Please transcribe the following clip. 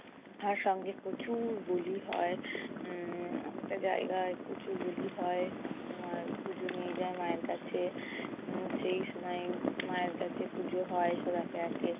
তার সঙ্গে প্রচুর বলি হয়। উম একটা জায়গায় প্রচুর বলি হয়। আর পুজো নিয়ে যায় মায়ের কাছে। উম সেই সময় মায়ের কাছে পুজো হয় সব একে একে